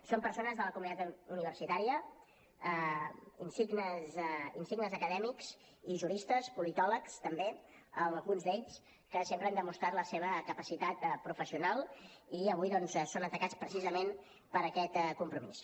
són persones de la comunitat universitària insignes acadèmics i juristes politòlegs també alguns d’ells que sempre han demostrat la seva capacitat professional i avui doncs són atacats precisament per aquest compromís